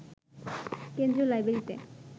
কেন্দ্রীয় লাইব্রেরিতে